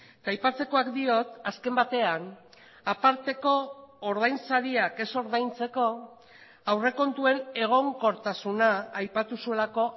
eta aipatzekoak diot azken batean aparteko ordainsariak ez ordaintzeko aurrekontuen egonkortasuna aipatu zuelako